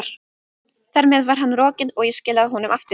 Þar með var hann rokinn, og ég skilaði honum aftur.